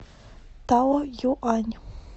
таоюань